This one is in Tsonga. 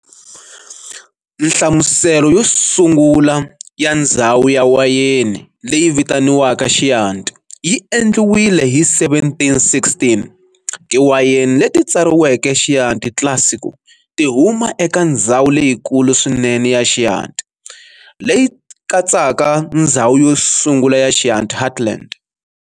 Nhlamuselo yosungula ya ndzhawu ya wayeni leyi vitaniwaka "Chianti" yi endliwile hi 1716. Tiwayeni leti tsariweke Chianti Classico ti huma eka ndzhawu leyikulu swinene ya Chianti, leyi katsaka ndzhawu yosungula ya Chianti heartland.